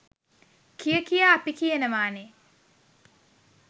කිය කියා අපි කියනවනේ.